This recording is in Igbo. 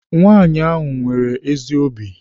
Nwaanyị ahụ nwere ezi obi.